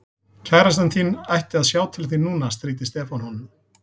Kærastan þín ætti að sjá til þín núna stríddi Stefán honum.